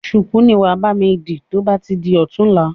ṣùkú ni wàá bami di to bá ti di ọ̀tunla.